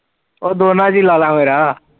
ਓ ਦੋਨਾ ਚ ਈ ਲਾਲਾ ਮੇਰਾ